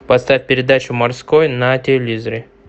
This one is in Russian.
поставь передачу морской на телевизоре